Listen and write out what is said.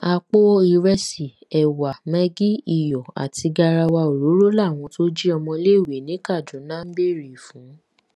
àpò ìrẹsì ẹwà mẹgì iyọ àti garawa òróró làwọn tó jí ọmọléèwé ní kaduna ń béèrè fún